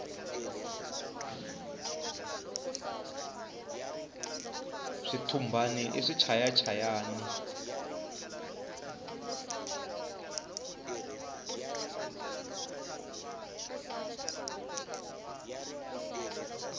switumbani i swichaya chayani